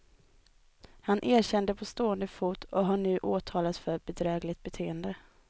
Han erkände på stående fot och har nu åtalats för bedrägligt beteende.